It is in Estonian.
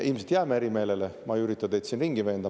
Ilmselt jääme eri meelele, ma ei ürita teid siin ringi veenda.